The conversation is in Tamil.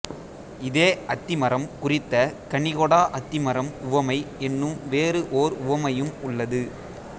இதே அத்தி மரம் குறித்த கனிகொடா அத்திமரம் உவமை என்னும் வேறு ஓர் உவமையும் உள்ளது